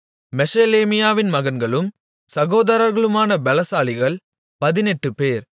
மெஷெலேமியாவின் மகன்களும் சகோதரர்களுமான பெலசாலிகள் பதினெட்டுபேர்